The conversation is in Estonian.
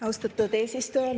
Austatud eesistuja!